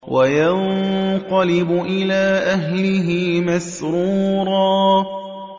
وَيَنقَلِبُ إِلَىٰ أَهْلِهِ مَسْرُورًا